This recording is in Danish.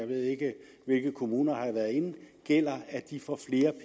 ved ikke hvilke kommuner herinde gælder at de får flere